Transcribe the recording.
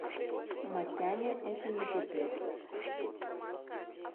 масяня это не пипец